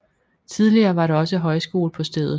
Tidligere var der også højskole på stedet